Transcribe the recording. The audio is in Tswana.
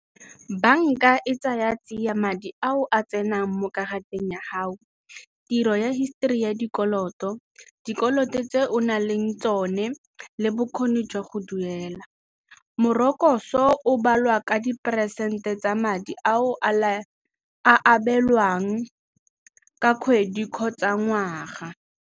Banka e tsaya tsiya madi ao a tsenang mo karateng ya gao, tiro ya histori ya dikoloto, dikoloto tse o na leng tsone le bokgoni jwa go duela. Morokotso o balwa ka diperesente tsa madi a o a abelwang ka kgwedi kgotsa ngwaga.